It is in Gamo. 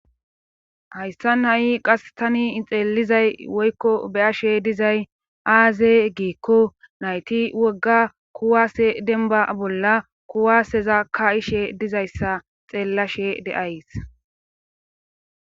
hayssa na7i qas tani xeelizay woykko beyashe dizay aaze giikko nayti wogga kuwaase denba bolla kuwaaseza ka ishe dizayssa xeellashe deays